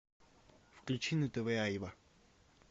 включи на тв айва